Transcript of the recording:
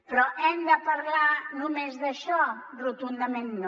però hem de parlar només d’això rotundament no